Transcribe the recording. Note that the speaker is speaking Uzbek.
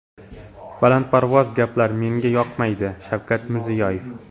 Balandparvoz gaplar menga yoqmaydi” Shavkat Mirziyoyev.